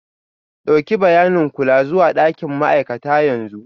Ɗauki bayanin kula zuwa ɗakin ma'aikata yanzu.